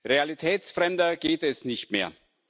Realitätsfremder geht es nicht mehr.